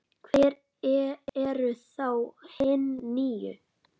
Hver eru þá hin níu?